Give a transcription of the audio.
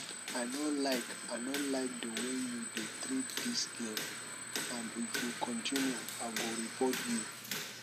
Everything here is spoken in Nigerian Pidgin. i no like i no like the way you dey treat dis girl and if you continue i go report you